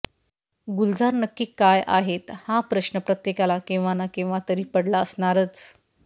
गुलजार नक्की काय आहेत हा प्रश्न प्रत्येकाला केव्हा ना केव्हा तरी पडला असणारच